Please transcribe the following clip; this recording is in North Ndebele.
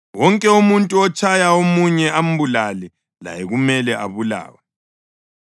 “Wonke umuntu otshaya omunye ambulale laye kumele abulawe.